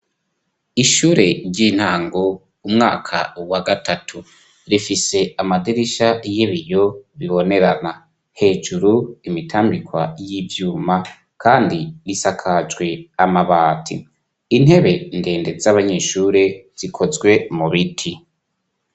Ishure ry'intango umwaka wa gatatu rifise amadirisha y'ibiyo bibonerana hejuru imitambikwa y'ivyuma kandi risakajwe amabati intebe ndende z'abanyeshure zikozwe mu biti.